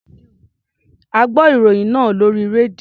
A gbọ́ ìròyìn náà lórí rédíò.